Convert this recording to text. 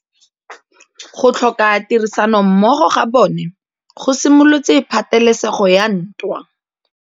Go tlhoka tirsanommogo ga bone go simolotse patêlêsêgô ya ntwa.